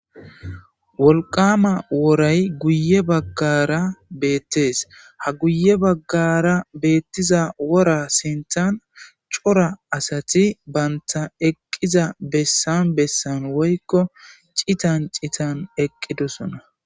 wolqama woray guye baggara beettes ha guye baggara beettiza wora sinthan cora asati banta eqqiza bessan bessan woykko citan citan eqqidosona